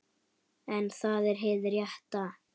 En það er hið rétta.